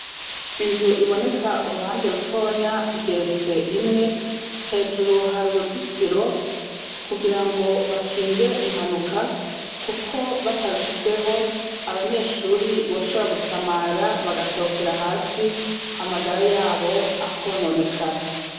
inzu iboneka uruhande rutonya igeretse rimwe hejuru hari uruzitiro kugirango bakinge impanuka kuko bararushizeho abanyeshuri boshobora gusamara bagakorokera hasi amagara yabo akononekara